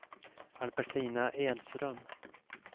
Albertina Edström